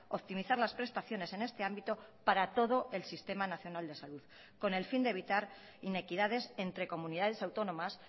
optimizar las prestaciones en este ámbito para todo el sistema nacional de salud con el fin de evitar inequidades entre comunidades autónomas